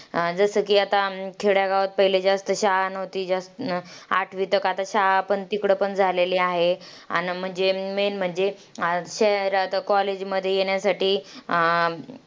अं जसं की आता अं खेड्यागावात पहिले जास्त शाळा नव्हती. जास आठवी तक आता शाळा पण तिकडं पण झालेली आहे. आन म्हणजे main म्हणजे, शहरात college मध्ये येण्यासाठी अं